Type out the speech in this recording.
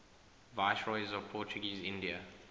viceroys of portuguese india